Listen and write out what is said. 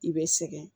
I bɛ sɛgɛn